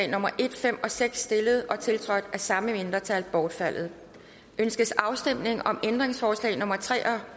nummer en fem og seks stillet og tiltrådt af samme mindretal bortfaldet ønskes afstemning om ændringsforslag nummer tre og